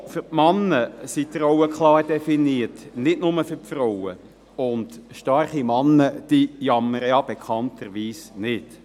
Auch für die Männer sind die Rollen klar definiert, nicht nur für die Frauen, und starke Männer jammern bekanntlich nicht.